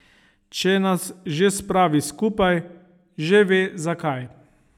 Če nas že spravi skupaj, že ve, zakaj.